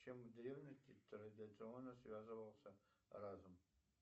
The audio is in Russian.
чем в древности традиционно связывался разум